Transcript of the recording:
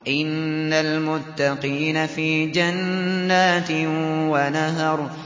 إِنَّ الْمُتَّقِينَ فِي جَنَّاتٍ وَنَهَرٍ